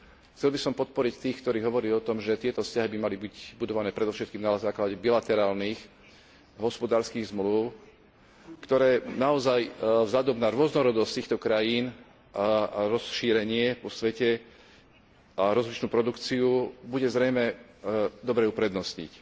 Chcel by som podporiť tých, ktorí hovoria o tom, že tieto vzťahy by mali byť budované predovšetkým na základe bilaterálnych hospodárskych zmlúv, ktoré naozaj vzhľadom na rôznorodosť týchto krajín, rozšírenie vo svete, rozličnú produkciu bude zrejme dobré uprednostniť.